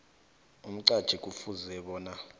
umqatjhi kufuze bona